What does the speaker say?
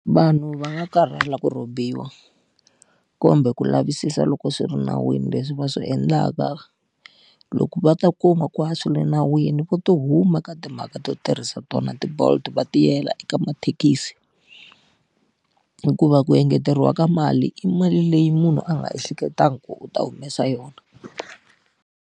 Vanhu va nga karhala ku rhobiwa, kumbe ku lavisisa loko swi ri nawini leswi va swi endlaka. Loko va ta kuma ku a swi le nawini va to huma ka timhaka ta to tirhisa tona ti-Bolt va ti yela eka mathekisi. Hikuva ku engeteriwa ka mali i mali leyi munhu a nga hleketangi ku u ta humesa yona.